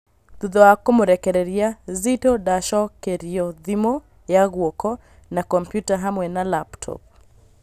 Thutha wa kũmũrekereria, Zitto ndacokerio thimũ ya guoko na kompiuta hamwe na 'laptop'